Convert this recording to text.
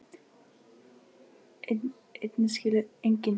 Enginn skilur orðinn hlut fyrr en að honum kemur.